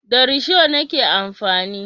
Da risho nake amfani.